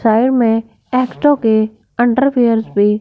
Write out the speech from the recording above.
side में एक्टो के अंडरवियर्स भी --